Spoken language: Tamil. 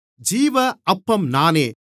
ஜீவ அப்பம் நானே